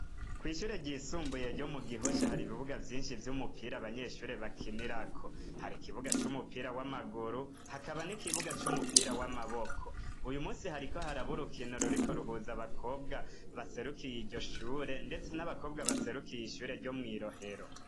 Kw'ishure ryisumbuye ryo mugihosha hari ibibuga vyinshi vy'umupira abanyeshure bakinirako harikibuga c'umupira w'amaguru hakaba n'ikibuga c'umupira w'amaboko, uyumusi hariko habaraba urukino ruriko ruhuza abakobwa baserukiye iryoshure ndetse n'abakobwa baserukiye ishure ryo mwirohero.